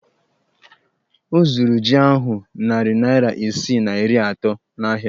Ọ zụrụ jí ahụ narị naira isii na iri atọ n'ahịa